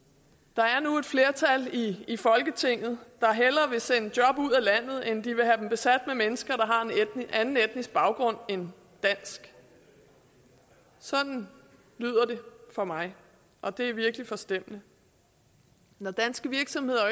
der er nu et flertal i folketinget der hellere vil sende job ud af landet end have dem besat med mennesker med en anden etnisk baggrund end dansk sådan lyder det for mig og det er virkelig forstemmende når danske virksomheder